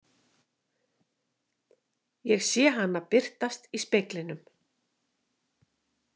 Ég sé hana birtast í speglinum.